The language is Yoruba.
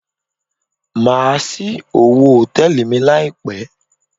Má á ṣí owo Hòtẹ́lìì mi láì pé.